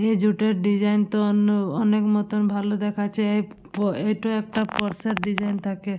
এই জুট -এর ডিজাইন তো অন্য অনেক মত ভালো দেখাচ্ছে। এপ প এট একটা ক্রস -এর ডিজাইন থাকে ।